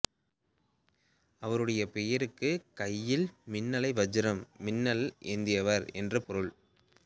அவருடைய பெயருக்கு கையில் மின்னலைவஜ்ரம் மின்னல் ஏந்தியவர் என்று பொருள்